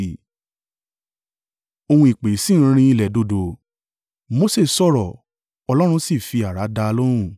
Ohùn ìpè sì ń rinlẹ̀ dòdò. Mose sọ̀rọ̀, Ọlọ́run sì fi àrá dá a lóhùn.